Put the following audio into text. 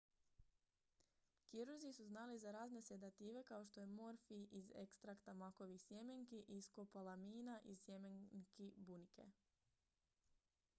kirurzi su znali za razne sedative kao što je morfij iz ekstrakta makovih sjemenki i skopolamina iz sjemenki bunike